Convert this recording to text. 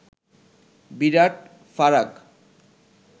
বিরাট ফারাক